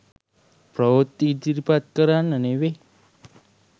ප්‍රවෘත්ති ඉදිරිපත් කරන්න නෙවේ.